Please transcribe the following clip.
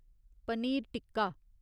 paneer tikka